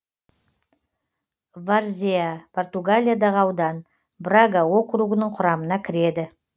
варзеа португалиядағы аудан брага округінің құрамына кіреді